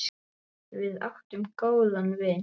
Við áttum góðan vin.